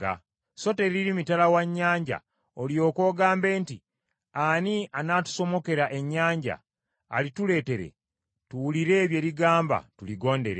So teriri mitala wa nnyanja, olyoke ogambe nti, “Ani anaatusomokera ennyanja, alituleetere tuwulire bye ligamba, tuligondere?”